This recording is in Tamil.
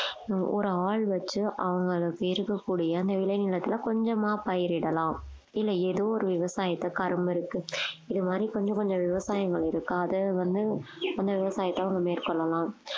ஹம் ஒரு ஆள் வச்சு அவங்களுக்கு இருக்கக்கூடிய அந்த விளைநிலத்துல கொஞ்சமா பயிரிடலாம் இல்லை ஏதோ ஒரு விவசாயத்தை கரும்பு இருக்கு இது மாதிரி கொஞ்சம் கொஞ்சம் விவசாயங்கள் இருக்கு அதை வந்து அந்த விவசாயத்தை அவங்க மேற்கொள்ளலாம்